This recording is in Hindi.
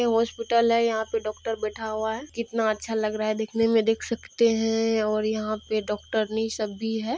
यह हॉस्पिटल है यह पर डॉक्टर बैठा हुआ है। कितना अच्छा लग रहा है देखने में देख सकते हैं और यहाँ पर डॉक्टरनी सब भी है।